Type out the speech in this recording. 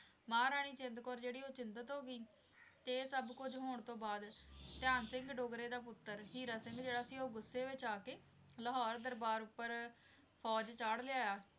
ਮਹਾਰਾਣੀ ਜਿੰਦ ਕੌਰ ਜਿਹੜੀ ਉਹ ਚਿੰਤਤ ਹੋ ਗਈ ਤੇ ਇਹ ਸੱਭ ਕੁੱਝ ਹੋਣ ਤੋਂ ਬਾਅਦ ਧਿਆਨ ਸਿੰਘ ਡੋਗਰੇ ਦਾ ਪੁੱਤਰ ਹੀਰਾ ਸਿੰਘ ਜਿਹੜਾ ਸੀ ਉਹ ਗੁੱਸੇ ਵਿਚ ਆ ਕੇ ਲਾਹੌਰ ਦਰਬਾਰ ਉੱਪਰ ਫ਼ੌਜ ਚਾੜ੍ਹ ਲਿਆਇਆ।